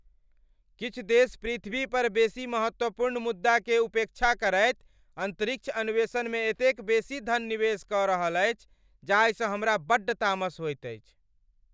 किछु देश पृथ्वी पर बेसी महत्वपूर्ण मुद्दाकेँ उपेक्षा करैत अन्तरिक्ष अन्वेषणमे एतेक बेसी धन निवेश कऽ रहल अछि जाहिसँ हमरा बड्ड तामस होइत अछि।